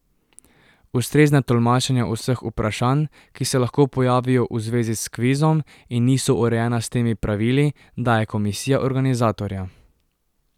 Ustrezna tolmačenja vseh vprašanj, ki se lahko pojavijo v zvezi s kvizom in niso urejena s temi pravili, daje komisija organizatorja.